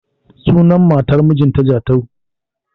Sunan matar mijin ta Jatau